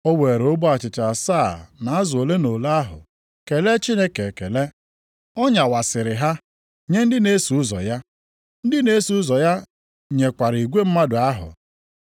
O weere ogbe achịcha asaa na azụ ole na ole ahụ kelee Chineke ekele. Ọ nyawasịrị ha, nye ndị na-eso ụzọ ya. Ndị na-eso ụzọ ya nyekwara igwe mmadụ ahụ.